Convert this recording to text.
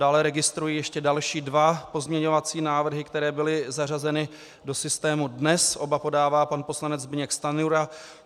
Dále registruji ještě další dva pozměňovací návrhy, které byly zařazeny do systému dnes, oba podává pan poslanec Zbyněk Stanjura.